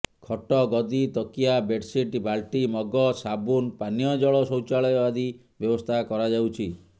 ଖଟ ଗଦି ତକିଆ ବେଡସିଡ ବାଲଟି ମଗ ସାବୁନ ପାନୀୟଜଳ ଶୌଚାଳୟ ଆଦି ବ୍ୟବସ୍ଥା କରାଯାଉଛି